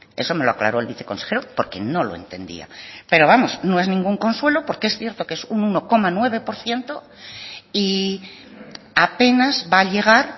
eso me lo aclaró el viceconsejero porque no lo entendía pero vamos no es ningún consuelo porque es cierto que es un uno coma nueve por ciento y apenas va a llegar